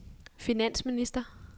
finansminister